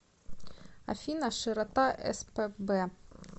афина широта спб